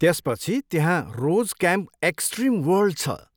त्यसपछि त्यहाँ rose camp extreme world छ।